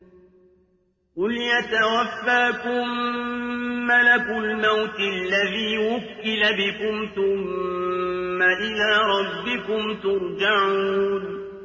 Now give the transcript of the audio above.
۞ قُلْ يَتَوَفَّاكُم مَّلَكُ الْمَوْتِ الَّذِي وُكِّلَ بِكُمْ ثُمَّ إِلَىٰ رَبِّكُمْ تُرْجَعُونَ